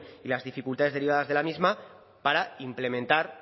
y las dificultades derivadas de la misma para implementar